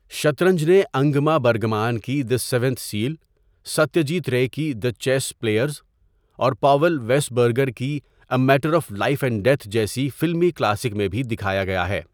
شطرنج نے Ingmar Bergman کی the seventh seal, Satyajit Ray کی دی چیس پلیئرز، اور پاول و پریسبرگر کی a matter of life and death جیسی فلمی کلاسک میں بھی دکھایا گیا ہے۔